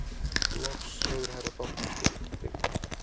Loks hefur herra bankastjóri Tryggvi